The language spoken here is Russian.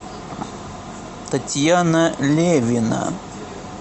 татьяна левина